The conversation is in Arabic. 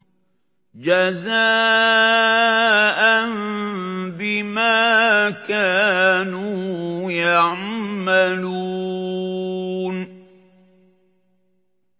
جَزَاءً بِمَا كَانُوا يَعْمَلُونَ